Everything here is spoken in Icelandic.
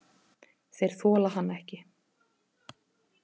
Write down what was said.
Þeir þola hann ekki.